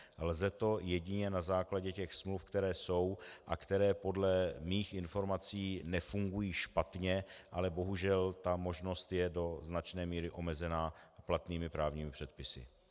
Lze to jedině na základě těch smluv, které jsou a které podle mých informací nefungují špatně, ale bohužel ta možnost je do značné míry omezena platnými právními předpisy.